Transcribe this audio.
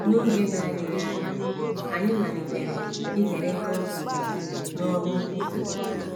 N’oge na - adịghị anya, anyị malitere ikerekọ òkè n’ọrụ nkwusa.